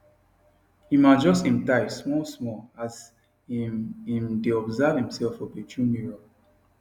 im adjust im tie small small as im im dae observe himself for bathroom mirror